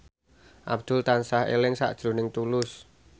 Abdul tansah eling sakjroning Tulus